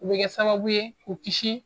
O bɛ kɛ sababu ye k'u kisi